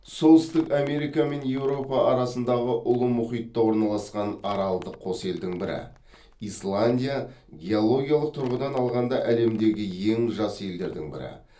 солтүстік америка мен еуропа арасындағы ұлы мұхитта орналасқан аралдық қос елдің бірі исландия геологиялық тұрғыдан алғанда әлемдегі ең жас елдердің бірі